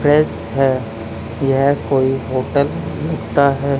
Dress हैं यह कोई होटल लगता है।